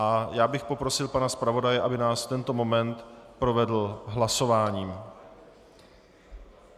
A já bych poprosil pana zpravodaje, aby nás v tento moment provedl hlasováním.